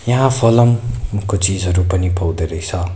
यहाँ फलमको चीजहरु पनि पाउँदा रैछ।